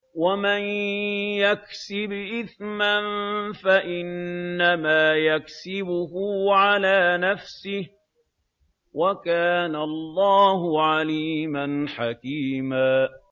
وَمَن يَكْسِبْ إِثْمًا فَإِنَّمَا يَكْسِبُهُ عَلَىٰ نَفْسِهِ ۚ وَكَانَ اللَّهُ عَلِيمًا حَكِيمًا